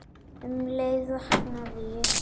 Um leið vaknaði ég.